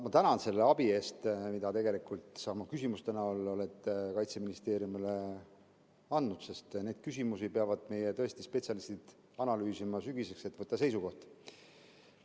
Ma tänan selle abi eest, mida sa tegelikult oma küsimuste näol oled Kaitseministeeriumile andnud, sest neid küsimusi peavad meie spetsialistid sügiseks analüüsima, et võtta seisukoht.